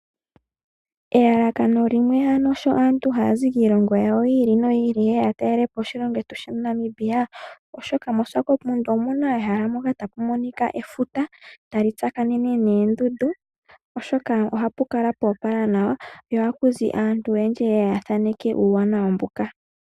Elalakano limwe sho aantu haya zi kiilongo ya wo yi ili noyi ili yeye ya talele po oshilongo shetu Namibia, oshoka moSwakopmund omuna ehala moka ta mu monika efuta tali tsaakanene noondundu. Ohapu kala pwa opala nawa, ohaku zi aantu oyendji yeye ya thaaneke uuwanawa mboka.